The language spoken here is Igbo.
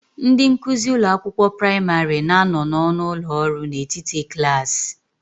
Ndị nkuzi ụlọ akwụkwọ praịmarị na-anọ n'ọnụ ụlọ ọrụ n'etiti klaasị.